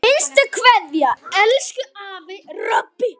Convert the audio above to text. HINSTA KVEÐJA Elsku afi Robbi.